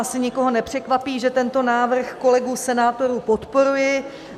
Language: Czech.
Asi nikoho nepřekvapí, že tento návrh kolegů senátorů podporuji.